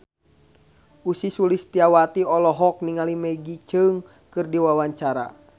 Ussy Sulistyawati olohok ningali Maggie Cheung keur diwawancara